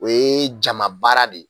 O ye jama baara de ye